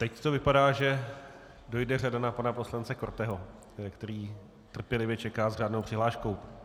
Teď to vypadá, že dojde řada na pana poslance Korteho, který trpělivě čeká s řádnou přihláškou.